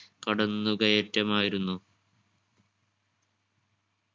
കടന്നു കയറ്റമായിരുന്നു